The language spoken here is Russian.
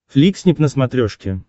фликснип на смотрешке